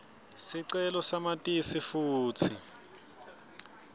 sicelo samatisi futsi